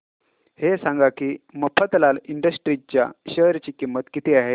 हे सांगा की मफतलाल इंडस्ट्रीज च्या शेअर ची किंमत किती आहे